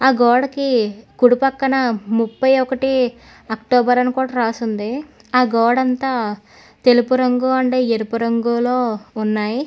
గోడకి కుడి పక్కన ముప్పై ఒకటి అక్టోబర్ అని కూడా రాసుంది ఆ గోడంత తెలుపు రంగు అండ్ ఎరుపు రంగులో ఉన్నాయి.